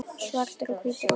Svartir og hvítir á litinn.